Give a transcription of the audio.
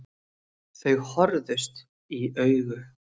Þau horfðust í augu.